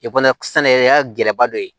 sɛnɛkɛ gɛlɛba dɔ ye